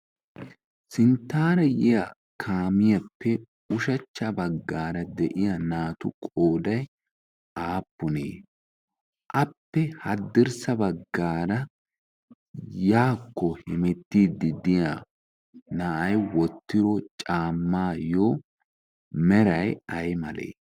sinttaara yiya kaamiyaappe ushachcha baggaara de7iya naatu qoodai aappunee? appe haddirssa baggaara yaakko hemettiiddiddiya na7ai wottiro caammaayyo merai ai malee?